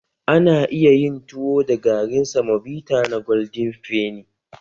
Ana iya yin tuwo da garin samobita na golden fenny.